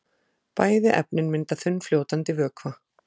Bæði efnin mynda þunnfljótandi vökva.